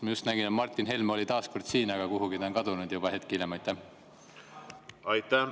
Ma just nägin, et Martin Helme oli taas kord siin, aga juba hetk hiljem on ta kuhugi kadunud.